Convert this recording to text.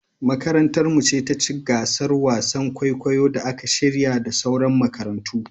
Makarantar mu ce taci gasar wasan kwaikwayon da aka shirya da sauran makarantu